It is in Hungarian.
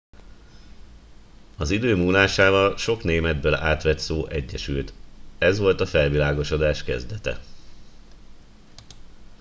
az idő múlásával sok németből átvett szó egyesült ez volt a felvilágosodás kezdete